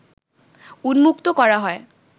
উন্মুক্ত করা হয়